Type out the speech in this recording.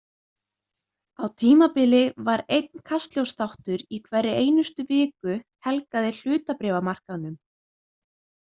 Á tímabili var einn Kastljóssþáttur í hverri einustu viku helgaðir hlutabréfamarkaðnum.